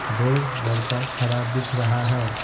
दो लड़का खड़ा दिख रहा है।